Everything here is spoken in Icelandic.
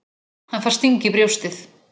Hann fær sting í brjóstið.